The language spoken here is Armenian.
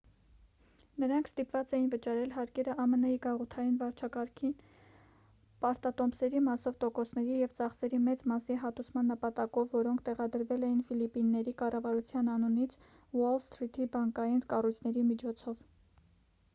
նրանք ստիպված էին վճարել հարկերը ամն-ի գաղութային վարչակարգին պարտատոմսերի մասով տոկոսների և ծախսերի մեծ մասի հատուցման նպատակով որոնք տեղադրվել էին ֆիլիպինների կառավարության անունից ուոլ սթրիթի բանկային կառույցների միջոցով